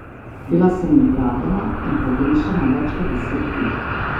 Bila sem ugrabljena in pogrešana več kot deset let.